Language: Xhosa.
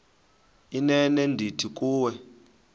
inene ndithi kuwe